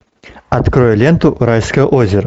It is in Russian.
открой ленту райское озеро